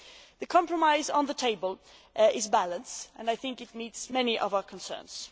The compromise on the table is balanced, and I think it meets many of our concerns.